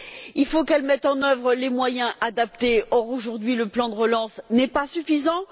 Il faut qu'elle mette en œuvre les moyens adaptés or, aujourd'hui, le plan de relance n'est pas suffisant.